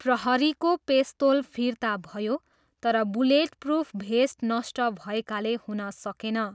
प्रहरीको पेस्तोल फिर्ता भयो तर बुलेटप्रुफ भेस्ट नष्ट भएकाले हुन सकेन।